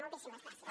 moltíssimes gràcies